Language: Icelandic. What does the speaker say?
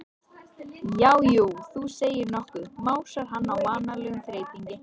Já, jú, þú segir nokkuð, másar hann á vanalegum þeytingi.